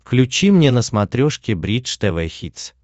включи мне на смотрешке бридж тв хитс